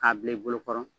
K'a bila i bolokɔrɔ